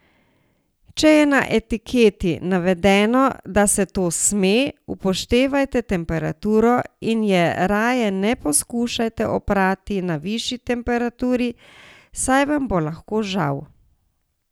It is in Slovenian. Če je na etiketi navedeno, da se to sme, upoštevajte temperaturo in je raje ne poskušajte oprati na višji temperaturi, saj vam bo lahko žal.